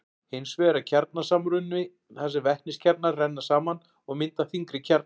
hins vegar er kjarnasamruni þar sem vetniskjarnar renna saman og mynda þyngri kjarna